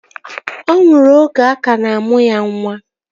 Ọ nwụrụ oge a ka na-amụ ya nwa